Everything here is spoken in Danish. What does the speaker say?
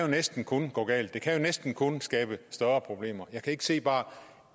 næsten kun kan gå galt det kan jo næsten kun skabe større problemer jeg kan ikke se bare